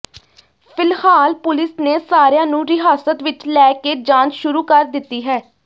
ਫਿਲਹਾਲ ਪੁਲਿਸ ਨੇ ਸਾਰਿਆਂ ਨੂੰ ਹਿਰਾਸਤ ਵਿੱਚ ਲੈ ਕੇ ਜਾਂਚ ਸ਼ੁਰੂ ਕਰ ਦਿੱਤੀ ਹੈ